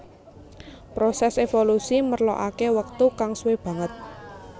Prosès évolusi merlokaké wektu kang suwé banget